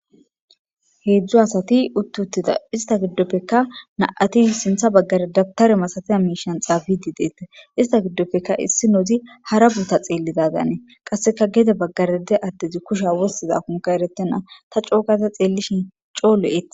heedzdzo asati uttutida ista giddoppekka na7ati sintha baggare dabtare masatiya miishan xaabidi deette ista giddoppekka issi noozi hara buuta xeellidadanee qasseka gede baggarede addezi kusha wossiza kunka eretena ta cookaza xeellishin coolo ete